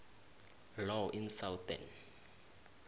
law in southern